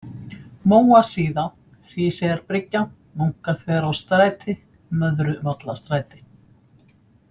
Móasíða, Hríseyjarbryggja, Munkaþverárstræti, Möðruvallastræti